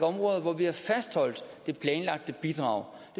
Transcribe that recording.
områder hvor vi har fastholdt det planlagte bidrag